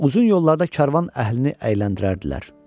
Uzun yollarda karvan əhlini əyləndirərdilər.